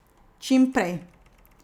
Čim prej!